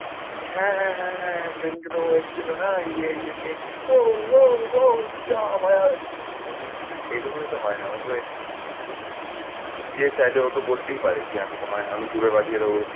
বলছে হ্যাঁ হ্যাঁ হ্যাঁ হ্যাঁ হ্যাঁ সেদিনকে তো ও এসেছিল না। ইয়ে ইয়ে ইয়ে তো অও অও অও চাপাবাজ। আমি এইটুকুনই তো হয় না ইয়ে চাইলে ওতো বলতেই পারে যে আমি তোমায় আমি তোমায় পাঠিয়ে দেব।